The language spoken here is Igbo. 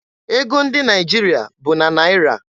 Ego ndị Naịjirịa bụ na Naịra.